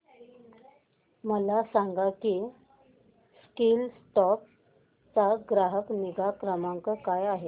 मला सांग की स्कीलसॉफ्ट चा ग्राहक निगा क्रमांक काय आहे